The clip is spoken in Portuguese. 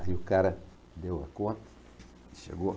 Aí o cara deu a conta e chegou.